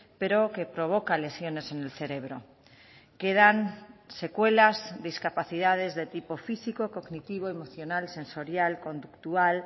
pero que provoca lesiones en el cerebro quedan secuelas discapacidades de tipo físico cognitivo emocional sensorial conductual